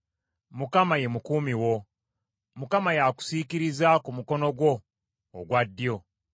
Mukama ye mukuumi wo; Mukama y’akusiikiriza ku mukono gwo ogwa ddyo;